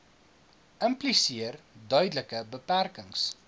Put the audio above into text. impliseer duidelike beperkings